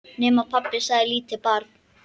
Nema, pabbi, sagði lítið barn.